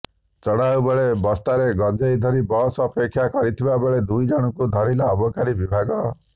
ଚଢାଉ ବେଳେ ବସ୍ତାରେ ଗଞ୍ଜେଇ ଧରି ବସ୍ ଅପେକ୍ଷା କରି ଥିବାବେଳେ ଦୁଇ ଜଣଙ୍କୁ ଧରିଲା ଅବକାରୀ ବିଭାଗ